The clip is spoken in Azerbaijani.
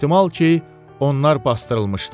Ehtimal ki, onlar basdırılmışdı.